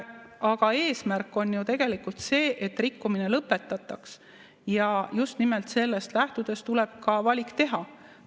Aga eesmärk on tegelikult see, et rikkumine lõpetataks, ja just nimelt sellest lähtudes tuleb valik teha.